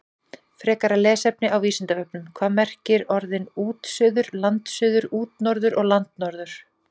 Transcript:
Frekara lesefni á Vísindavefnum: Hvað merkja orðin útsuður, landsuður, útnorður og landnorður?